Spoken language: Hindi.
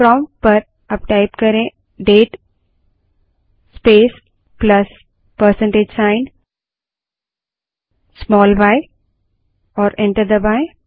प्रोंप्ट पर date space plus percentage sign small y type करें और एंटर दबायें